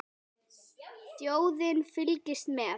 Þjóðin fylgist með.